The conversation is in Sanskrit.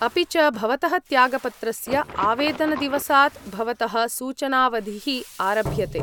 अपि च, भवतः त्यागपत्रस्य आवेदनदिवसात् भवतः सूचनावधिः आरभ्यते।